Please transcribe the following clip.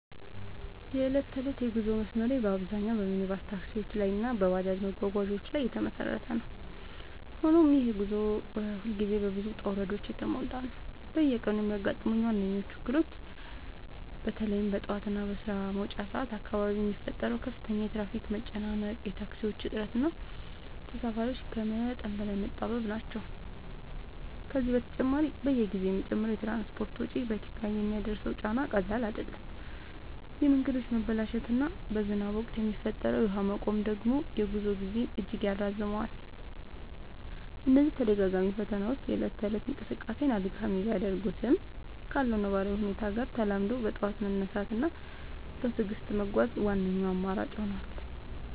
የዕለት ተዕለት የጉዞ መስመሬ በአብዛኛው በሚኒባስ ታክሲዎች እና በባጃጅ መጓጓዣዎች ላይ የተመሰረተ ነው፤ ሆኖም ይህ ጉዞ ሁልጊዜ በብዙ ውጣ ውረዶች የተሞላ ነው። በየቀኑ የሚያጋጥሙኝ ዋነኞቹ እክሎች በተለይም በጠዋት እና በስራ መውጫ ሰዓት አካባቢ የሚፈጠረው ከፍተኛ የትራፊክ መጨናነቅ፣ የታክሲዎች እጥረት እና ተሳፋሪዎች ከመጠን በላይ መጣበብ ናቸው። ከዚህ በተጨማሪ፣ በየጊዜው የሚጨምረው የትራንስፖርት ወጪ በኪስ ላይ የሚያደርሰው ጫና ቀላል አይደለም፤ የመንገዶች መበላሸት እና በዝናብ ወቅት የሚፈጠረው የውሃ መቆም ደግሞ የጉዞ ጊዜን እጅግ ያራዝመዋል። እነዚህ ተደጋጋሚ ፈተናዎች የእለት ተእለት እንቅስቃሴን አድካሚ ቢያደርጉትም፣ ካለው ነባራዊ ሁኔታ ጋር ተላምዶ በጠዋት መነሳት እና በትዕግስት መጓዝ ዋነኛው አማራጭ ሆኗል።